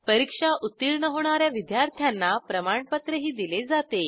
परीक्षा उत्तीर्ण होणा या विद्यार्थ्यांना प्रमाणपत्रही दिले जाते